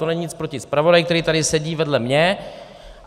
To není nic proti zpravodaji, který tady sedí vedle mě.